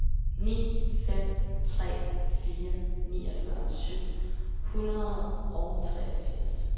ni fem tre fire niogfyrre syv hundrede og treogfirs